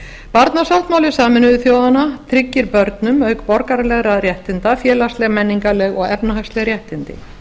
barnasáttmáli sameinuðu þjóðanna tryggir börnum auk borgaralegra réttinda félagsleg menningarleg og efnahagsleg réttindi